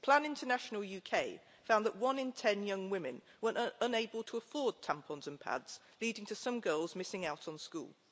Plan International UK found that one in ten young women were unable to afford tampons and pads, leading to some girls missing out on school.